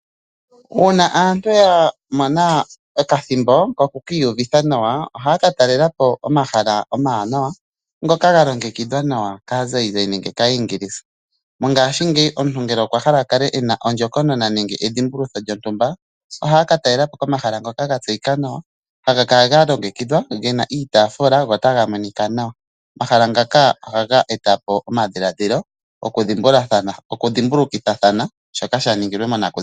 Uuna aantu yamona okathimbo koku kiiuvitha nawa ohaaka talela po omahala omawanawa ngoka ga longekidhwa nawa kaazayizayi nenge kaayingisa mongaashingeyi omuntu ngele okwa hala okukala ena ondjokonona nenge ena edhimbulutho lyontumba ohaa katalela po komahala ngoka ga tyeyika nawa haga kala ga longekidhwa nawa gena iitafula go otaga monika nawa omahala ngaka omahala ngaka ohags etapo omadhimbulikitho mwaashoka shaningilwa monakuziwa .